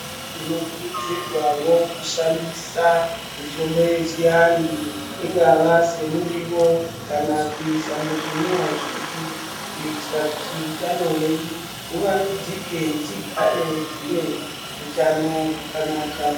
Tinokurudzirwawo kushandisa mitombo yechianhu ingava semuriwo kana kuisa muzvinwiwa zvedu kuitira kuti utano hwedu huvandudzike tigare tine hutano hwakanaka.